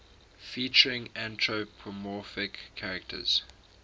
featuring anthropomorphic characters